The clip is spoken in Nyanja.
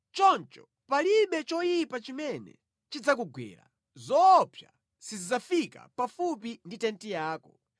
Choncho palibe choyipa chimene chidzakugwera, zoopsa sizidzafika pafupi ndi tenti yako.